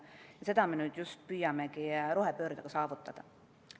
Ja just seda me nüüd püüamegi rohepöördega saavutada.